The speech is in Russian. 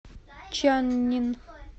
чаннин